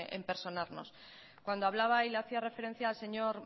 en personarnos cuando hablaba y le hacía referencia al señor